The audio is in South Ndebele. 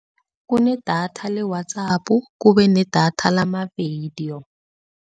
Kunedatha le-WhatsApp, kube nedatha lamavidiyo.